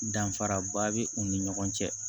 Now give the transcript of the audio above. Danfaraba bɛ u ni ɲɔgɔn cɛ